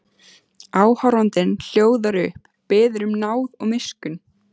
Áhorfandinn hljóðar upp, biður um náð og miskunn.